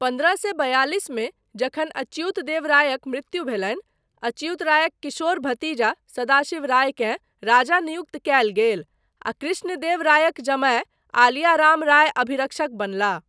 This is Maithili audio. पन्द्रह सए बयालिसमे जखन अच्युत देव रायक मृत्यु भेलनि, अच्युत रायक किशोर भतीजा सदाशिव रायकेँ राजा नियुक्त कयल गेल, आ कृष्णदेव रायक जमाय आलिया राम राय अभिरक्षक बनलाह।